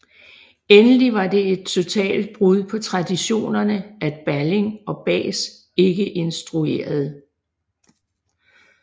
Endelig var det et totalt brud på traditionerne at Balling og Bahs ikke instruerede